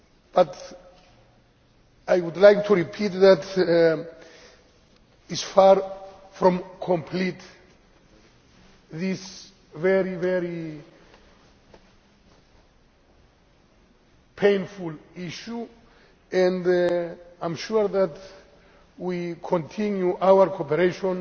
But I would like to repeat that this is far from complete, this very painful issue, and I am sure that we will continue our cooperation